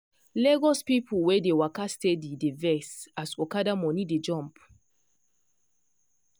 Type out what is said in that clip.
lagos people wey dey waka steady dey vex as okada money dey jump.